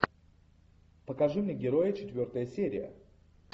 покажи мне герои четвертая серия